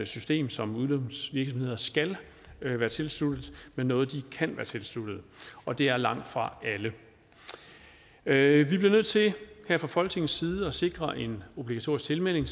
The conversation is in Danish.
system som udlånsvirksomheder skal være tilsluttet men noget de kan være tilsluttet og det er langtfra alle vi bliver nødt til her fra folketingets side at sikre en obligatorisk tilmelding